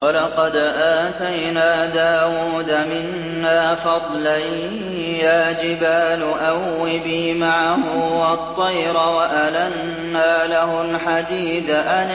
۞ وَلَقَدْ آتَيْنَا دَاوُودَ مِنَّا فَضْلًا ۖ يَا جِبَالُ أَوِّبِي مَعَهُ وَالطَّيْرَ ۖ وَأَلَنَّا لَهُ الْحَدِيدَ